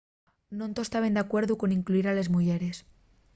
non toos taben d’alcuerdu con incluyir a les muyeres